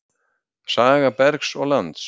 Saga bergs og lands.